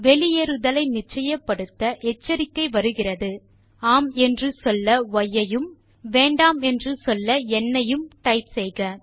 வெளியேறுதலை நிச்சயப்படுத்த எச்சரிக்கை வருகிறது ஆம் என்று சொல்ல ய் ஐயும் வேண்டாம் என்று சொல்ல ந் ஐயும் டைப் செய்க